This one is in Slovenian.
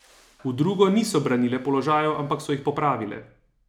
V drugo niso branile položajev, ampak so jih popravile.